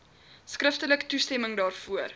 skriftelik toestemming daarvoor